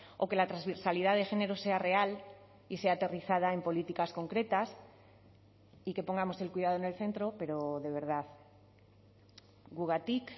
o que la transversalidad de género sea real y sea aterrizada en políticas concretas y que pongamos el cuidado en el centro pero de verdad gugatik